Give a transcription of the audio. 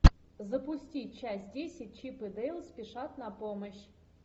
запусти часть десять чип и дейл спешат на помощь